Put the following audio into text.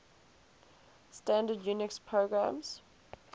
standard unix programs